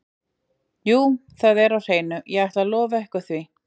Jú það er á hreinu, ég ætla að lofa ykkur því.